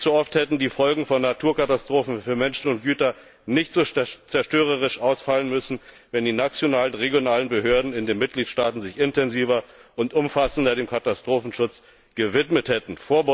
Viel zu oft hätten die Folgen von Naturkatastrophen für Menschen und Güter nicht so zerstörerisch ausfallen müssen, wenn die nationalen und regionalen Behörden in den Mitgliedstaaten sich intensiver und umfassender dem Katastrophenschutz gewidmet hätten.